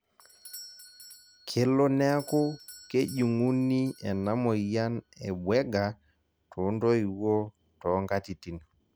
kelo neeku kejunguni ena moyian e Bueger too ntoiwuo too nkatitin